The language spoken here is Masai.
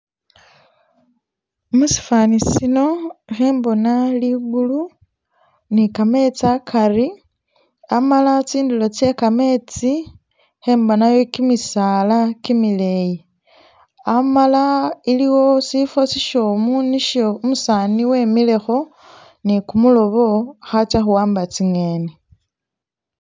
Musifani sino ikhembona ligulu ni kametsi akari amala tsindulo tse kametsi ikhembonayo kimisaala kimileyi , amala iliwo sifo sishomu nisho umusani wemilekho ni kumulobo akhatsa khuwamba tsi'ngeni.